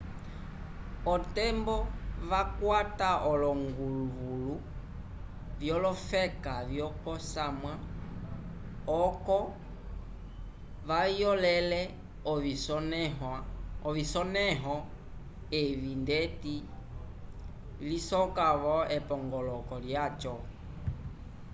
otembo vakwata olonguvulu vyolofeka vyokosamwa oco vayolele ovisonẽho evi ndeti lisoka-vo epongoloko lyaco